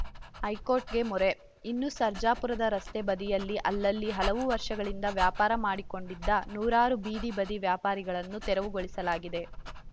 ಹೈಕೋರ್ಟ್‌ಗೆ ಮೊರೆ ಇನ್ನು ಸರ್ಜಾಪುರ ರಸ್ತೆ ಬದಿಯಲ್ಲಿ ಅಲ್ಲಲ್ಲಿ ಹಲವು ವರ್ಷಗಳಿಂದ ವ್ಯಾಪಾರ ಮಾಡಿಕೊಂಡಿದ್ದ ನೂರಾರು ಬೀದಿ ಬದಿ ವ್ಯಾಪಾರಿಗಳನ್ನು ತೆರವುಗೊಳಿಸಲಾಗಿದೆ